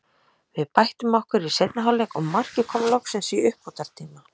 Við bættum okkur í seinni hálfleik og markið kom loksins í uppbótartíma.